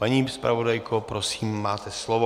Paní zpravodajko, prosím, máte slovo.